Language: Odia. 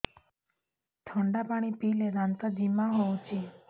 ଥଣ୍ଡା ପାଣି ପିଇଲେ ଦାନ୍ତ ଜିମା ହଉଚି